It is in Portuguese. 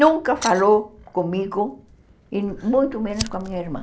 Nunca falou comigo e muito menos com a minha irmã.